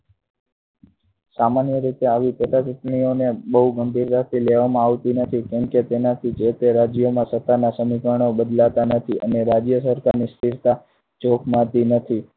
સામાન્ય રીતે આવી પેટા ચુંટણીઓને બહુ ગંભીરતાથી લેવામાં આવતી નથી કેમકે તેનાથી જે તે રાજ્યોમાં સત્તાના સમીકરણો બદલાતા નથી અને રાજ્ય સરકારની સ્થિરતા જોખમાતી નથી.